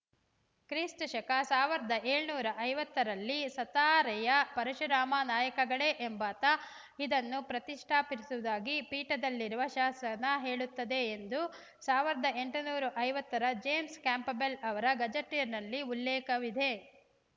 ಕ್ರಿಸ್ತ ಶಕ ಸಾವಿರದ ಏಳುನೂರ ಐವತ್ತರಲ್ಲಿ ಸತಾರೆಯ ಪರಶುರಾಮ ನಾಯಕಗಳೆ ಎಂಬಾತ ಇದನ್ನು ಪ್ರತಿಷ್ಠಾಪಿಸಿರುವುದಾಗಿ ಪೀಠದಲ್ಲಿರುವ ಶಾಸನ ಹೇಳುತ್ತದೆ ಎಂದು ಸಾವಿರದ ಎಂಟನೂರ ಐವತ್ತರ ಜೇಮ್ಸ್‌ ಕ್ಯಾಂಪಬೆಲ್‌ ಅವರ ಗೆಜೆಟಿಯರ್‌ನಲ್ಲಿ ಉಲ್ಲೇಖವಿದೆ